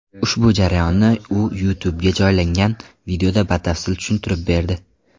Ushbu jarayonni u YouTube’ga joylangan videoda batafsil tushuntirib berdi.